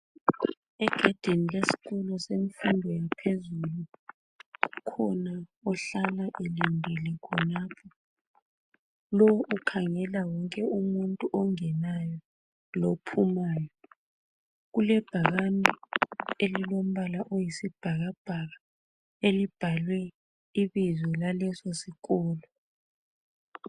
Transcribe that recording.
egedini lesikolo semfundo yaphezulu kukhona ohlala elindele khonapho lowu ukhangela wonke umuntu ongenayo lo phumayo kulebhakane elilombala oyisibhakabhaka elibhalwe ibizo laleso sikolo